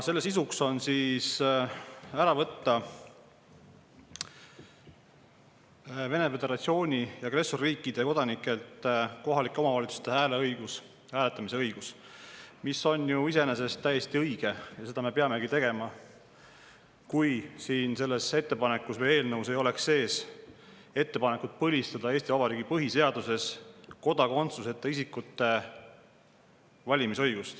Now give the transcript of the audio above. Selle sisuks on võtta Vene föderatsiooni, agressorriikide kodanikelt kohaliku omavalitsuse ära hääletamise õigus, mis on ju iseenesest täiesti õige ja seda me peaksimegi tegema, kui selles ettepanekus või eelnõus ei oleks sees ettepanekut põlistada Eesti Vabariigi põhiseaduses kodakondsuseta isikute valimisõigus.